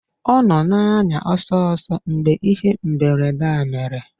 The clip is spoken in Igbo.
Ọ nọ na-anya ọsọ ọsọ mgbe ihe mberede a mere